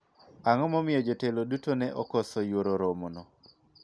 ang'o ma omiyo jotelo duto ne okoso yuoro romo no